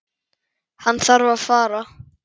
Hann þarf að fara.